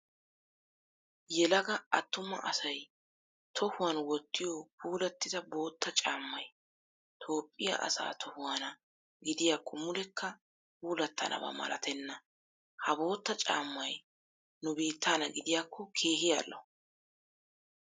Yelaga attuma asayii tohuwan wottiyoo puulattida bootta caammayi Toophphiyaa asaa tohuwaana gidiyaakko mulekka puulattanaba malatenna. Ha bootta caammayii nu biittaana gidiyaakko keehi al'o.